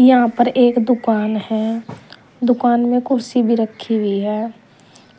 यहां पर एक दुकान है दुकान में कुर्सी भी रखी हुई है